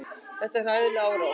Þetta var hræðileg árás.